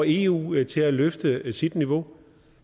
eu til at løfte sit niveau